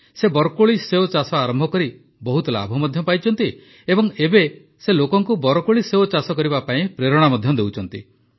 ସେ ବରକୋଳି ସେଓ ଚାଷ ଆରମ୍ଭ କରି ବହୁତ ଲାଭ ମଧ୍ୟ ପାଇଛନ୍ତି ଏବଂ ଏବେ ସେ ଲୋକଙ୍କୁ ବରକୋଳିସେଓ ଚାଷ କରିବା ପାଇଁ ପ୍ରେରଣା ମଧ୍ୟ ଦେଉଛନ୍ତି